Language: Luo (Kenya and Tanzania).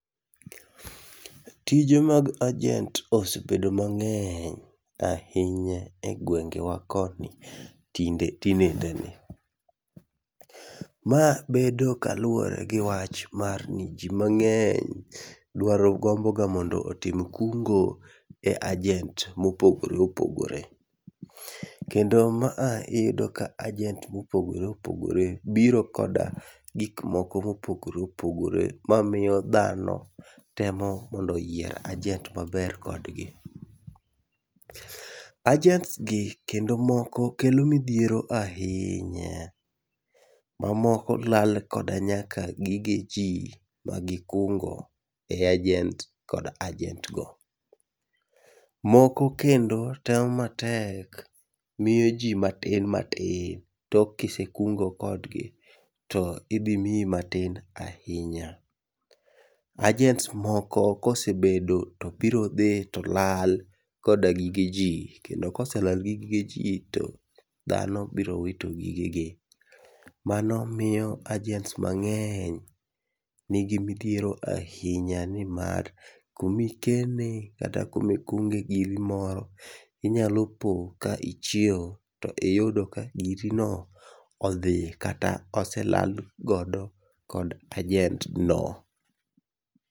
Tije mag ajent osebedo mang'eny ahinya egwengewa koni tinde tinendeni. Ma bedo kaluwore gi wach mar ni ji mang'eny dwaro gomboga mondo otim kungo e ajent mopogore opogore. Kendo ma a iyudo ka ajent mopogore opogore biro koda gikmoko mopogore opogore mamiyo dhano temo mondo oyier ajent moromore kodgi. Ajent gi moko kelo midhiero ahinya. Ma moko lal nyaka koda gige ji ma gikungo e ajent kod ajent go. Moko kendo temo matek miyo ji matin matin. Tok kise kungo kodgi to idhi miyi matin ahinya. Ajents moko kosebedo to birodhi to lal koda gige ji. Kendo kosela gi gigeji to dhano biro wito gigegi. Mano miyo ajent mang'eny nigi midhiero ahinya nimar kumikene kata kumikunge giri moro, inyalo po ka ichiew, to iyudo ka girino odhi kata ose lal godo kod ajent no.